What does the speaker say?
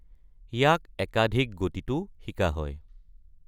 ইয়াক একাধিক গতিতো শিকা হয়।